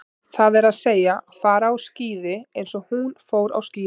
Það er að segja, fara á skíði eins og hún fór á skíði.